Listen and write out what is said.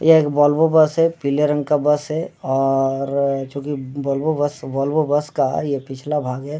यह एक Volvo bus है पीले रंग का बस और चूंकि वॉल्वो बस वॉल्वो बस का ये पिछला भाग है ।